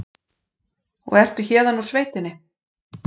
Og ertu héðan úr sveitinni?